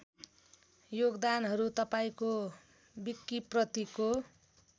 योगदानहरू तपाईँको विकिप्रतिको